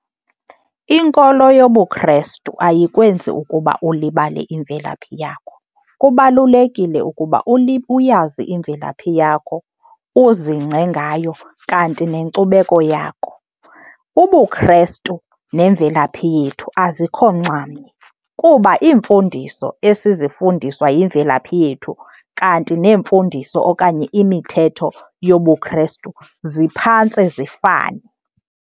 Inkolo yobuKrestu ayikwenzi ukuba ulibale imvelaphi yakho. Kubalulekile ukuba uyazi imvelaphi yakho, uzingce ngayo kanti nenkcubeko yakho. UbuKrestu nemvelaphi yethu azikho nxamnye, kuba iimfundiso esizifundiswa yimvelaphi yethu kanti neemfundiso okanye imithetho yobuKrestu ziphantse zifane.